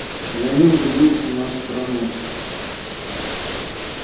за ним же будущее нашей страны